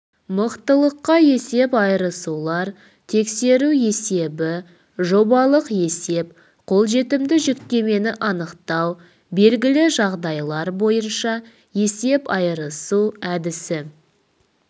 мықтылыққа есеп айырысулар тексеру есебі жобалық есеп қолжетімді жүктемені анықтау белгілі жағдайлар бойынша есеп айырысу әдісі